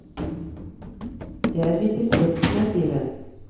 Det er vi tilfreds med, sier hun.